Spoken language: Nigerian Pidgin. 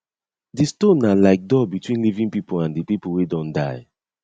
di stone na like door between living people and di people wey don die